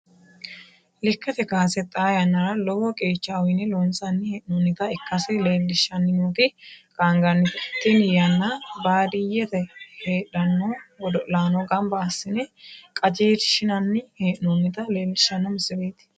Lekate kaase xaa yannara lowo qeecha uyine loonsanni hee'noonnita ikase leelishanni nooti qaangannite tinni yanna baadiyete heedhano godo'laano ganba asine qajeelshinnanni hee'noonnita leelishano misileeti.